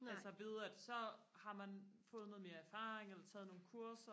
altså ved at så har man fået noget mere erfaring eller taget nogle kurser